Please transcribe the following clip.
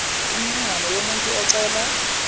imininingwane yomuntu ocela